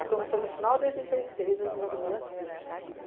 Aí quando foi no final de oitenta e seis, eu engravidei da Cintia.